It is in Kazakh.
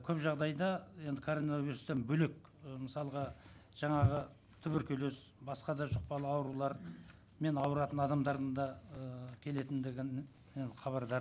көп жағдайда енді коронавирустан бөлек ы мысалға жаңағы туберкулез басқа да жұқпалы аурулармен ауыратын адамдардың да ыыы келетіндігін енді хабардар